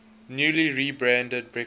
newly rebranded breakfast